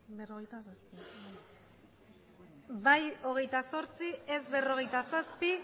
bai hogeita zortzi ez berrogeita zazpi